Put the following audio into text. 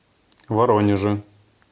воронеже